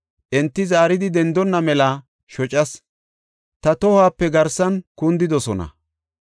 Enti zaaridi dendonna mela shocas; ta tohuwape garsan kundidosona.